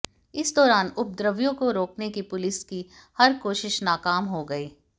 इस दौरान उपद्रवियों को रोकने की पुलिस की हर कोशिश नाकाम हो गई